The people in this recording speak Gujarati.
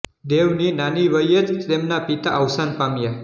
દેવની નાની વયે જ તેમના પિતા અવસાન પામ્યા